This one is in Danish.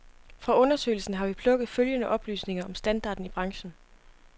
Fra undersøgelsen har vi plukket følgende oplysninger om standarden i branchen.